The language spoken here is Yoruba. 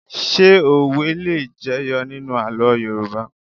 Ṣé òwe le jẹyọ nínú àlọ́ Yorùbá?